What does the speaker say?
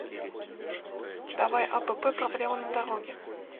давай апп проблема на дороге